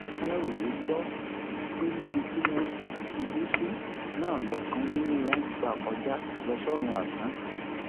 aláròye gbọ pé níbi tí wọn ṣubú sí náà lọkàn nínú wọn gbà kọjá lọ sọrun asán